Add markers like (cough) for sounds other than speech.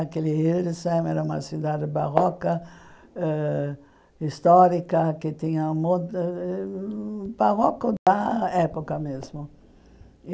Aquele Rio de (unintelligible) era uma cidade barroca, ãh histórica, que tinha... (unintelligible) barroco da época mesmo.